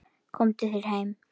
Komdu þér heim!